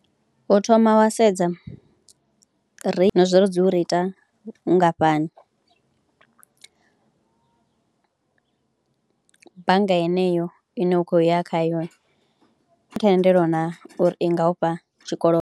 U thoma wa sedza ri, na zwa uri dzi u reitha nngafhani, bannga yeneyo ine u khou ya khayo thendelo naa uri i nga u fha tshikodo.